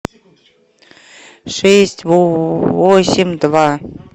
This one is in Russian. шесть восемь два